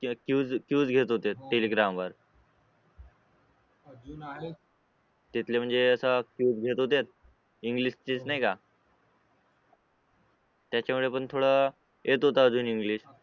घेत होते telegram वर तिथले म्हणजे अस इंग्लिश टेस्ट नाही का त्याचा मुले थोल येत होत अजून इंग्लिश